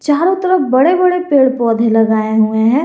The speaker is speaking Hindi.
चारों तरफ बड़े बड़े पेड़ पौधे लगाए हुए हैं।